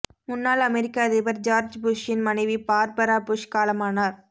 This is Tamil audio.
முன்னாள் அமெரிக்க அதிபர் ஜார்ஜ் புஷ்ஷின் மனைவி பார்பரா புஷ் காலமானார்